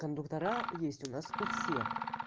кондуктора есть у нас у всех